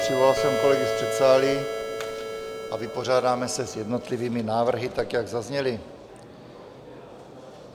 Přivolal jsem kolegy z předsálí a vypořádáme se s jednotlivými návrhy, tak jak zazněly.